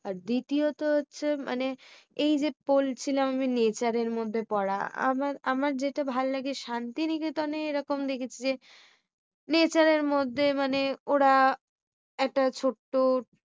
আর দ্বিতীয় তো হচ্ছে মানে এই যে বলছিলাম। আমি nature এর মধ্যে পড়া। আবার আমার যেটা ভাল্লাগে শান্তি নিকেতনে এই রকম দেখেছি যে nature মধ্যে মানে ওরা একটা ছোট্টো